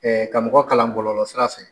ka mɔgɔ kalan bɔlɔlɔsira fɛ.